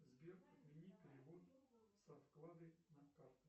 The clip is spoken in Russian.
сбер отмени перевод со вклады на карту